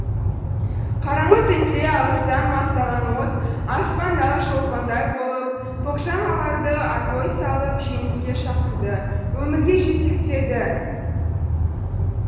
қараңғы түнде алыстан маздаған от аспандағы шолпандай болып тоғжан оларды атой салып жеңіске шақырды өмірге жетектеді